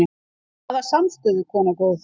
Hvaða samstöðu, kona góð?